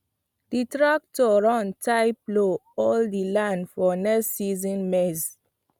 the tractor run tire plow all the land for next season maize